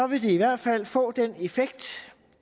vil det i hvert fald få den effekt